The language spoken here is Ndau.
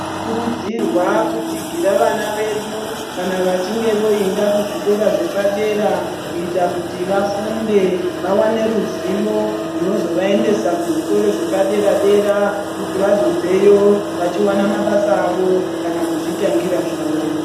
Tinokurudzirwa kutsigira vana vedu kana vachinge voenda kuzvikora zvepadera kuita kuti vafunde, vawane ruzivo runozovaendesa kuzvikora zvepadera dera kuti vazobveyo vachiwana mabasa avo kana kuzvitangira zvavo.